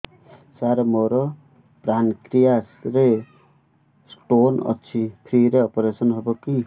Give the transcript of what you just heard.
ସାର ମୋର ପାନକ୍ରିଆସ ରେ ସ୍ଟୋନ ଅଛି ଫ୍ରି ରେ ଅପେରସନ ହେବ କି